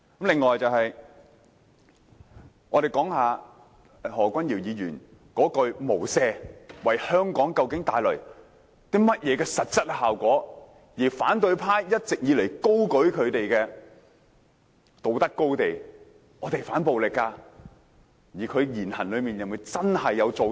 此外，我想談談何君堯議員那句"無赦"，究竟為香港帶來甚麼實質效果，而反對派一直以來站在道德高地，高聲說反暴力，但在實際行為上又是否真能做到。